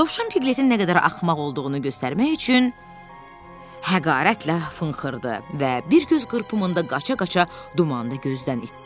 Dovşan Piqletin nə qədər axmaq olduğunu göstərmək üçün həqarətlə fınxırdı və bir göz qırpımında qaça-qaça dumanda gözdən itdi.